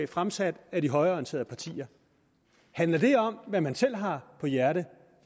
fremsat af de højreorienterede partier handler det om hvad man selv har på hjerte